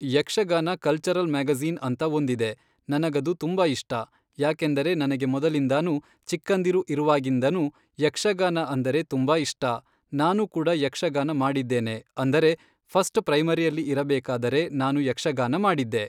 Yakshagana cultural magazine ಅಂತ ಒಂದಿದೆ ನನಗದು ತುಂಬ ಇಷ್ಟ ಯಾಕೆಂದರೆ ನನಗೆ ಮೊದಲಿಂದಾನೂ ಚಿಕ್ಕಂದಿರು ಇರುವಾಗಿಂದನೂ ಯಕ್ಷಗಾನ ಅಂದರೆ ತುಂಬ ಇಷ್ಟ ನಾನು ಕೂಡ ಯಕ್ಷಗಾನ ಮಾಡಿದ್ದೇನೆ ಅಂದರೆ ಫಸ್ಟ್ ಪ್ರೈಮರಿಯಲ್ಲಿ ಇರಬೇಕಾದರೆ ನಾನು ಯಕ್ಷಗಾನ ಮಾಡಿದ್ದೆ.